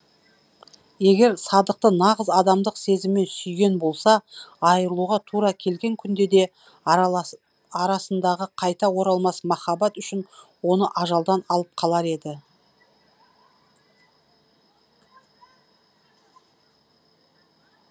егер садықты нағыз адамдық сезіммен сүйген болса айырылуға тура келген күнде де арасындағы қайта оралмас махаббат үшін оны ажалдан алып қалар еді